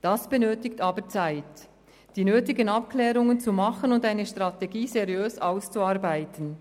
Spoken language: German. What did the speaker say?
Es erfordert aber Zeit, um die nötigen Abklärungen vorzunehmen und eine Strategie seriös auszuarbeiten.